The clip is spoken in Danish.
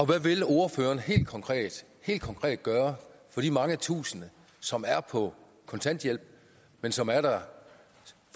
hvad vil ordføreren helt konkret konkret gøre for de mange tusinde som er på kontanthjælp men som er der